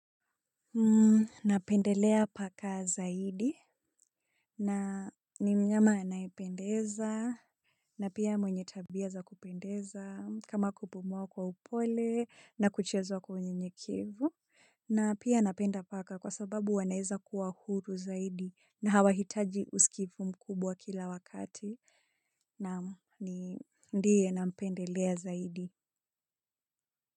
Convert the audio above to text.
Na pendelea paka zaidi. Na ni mnyama anaependeza. Na pia mwenye tabia za kupendeza kama kupumua kwa upole na kuchezwa kwenye unyenyekevu. Na pia napenda paka kwa sababu wanaweza kuwa huru zaidi na hawahitaji usikivu mkubwa kila wakati naam ndiye nampendelea zaidi.